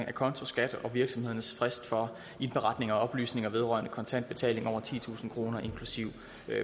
acontoskat og virksomhedernes frist for indberetning og oplysning vedrørende kontante betalinger på over titusind kroner inklusive